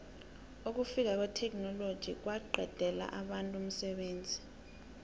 ukufika kwetheknoloji kwaqedela abantu umsebenzi